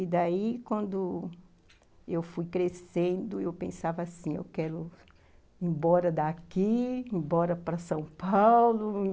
E daí, quando... eu fui crescendo, eu pensava assim, eu quero ir embora daqui, ir embora para São Paulo.